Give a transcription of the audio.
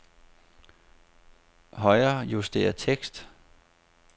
Højrejuster tekst.